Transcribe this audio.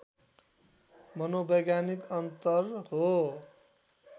मनोवैज्ञानिक अन्तर हो